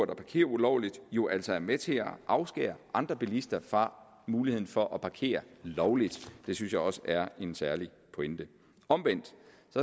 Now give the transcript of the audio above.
der parkerer ulovligt jo altså er med til at afskære andre bilister muligheden for at parkere lovligt det synes jeg også er en særlig pointe omvendt